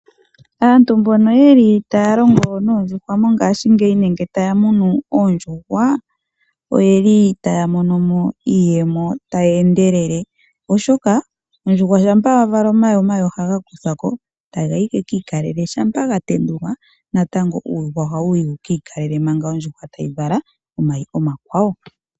Aantu mbono yeli taya longo noondjuhwa mongaashingeyi nenge taya munu oondjuhwa, oyeli taya mono mo iiyemo tayi endelele, oshoka ondjuhwa shampa ya vala omayi, omayi ohaga kuthwa ki etaga yi ge kiikalele shampa ga tendulwa natango uuyuhwa ohawu yi wu kiikalele manga ondjuhwa tayi vala omayi omakwawo.